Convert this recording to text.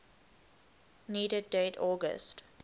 needed date august